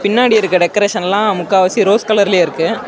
பின்னாடி இருக்க டெகரேஷன்ஸ்லா முக்காவாசி ரோஸ் கலர்லயே இருக்கு.